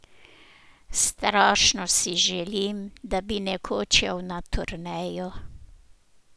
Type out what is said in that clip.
Strašno si želim, da bi nekoč šel na turnejo.